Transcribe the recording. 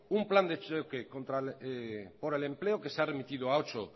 un plan de choque contra por el empleo que se ha remitido a ocho